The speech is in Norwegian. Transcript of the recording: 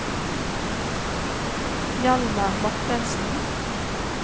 Hjalmar Mortensen